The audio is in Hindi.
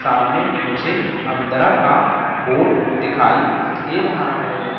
सामने मुझे अमदरा का बोट दिखाई दे रहा है।